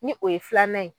Ni o ye filanan ye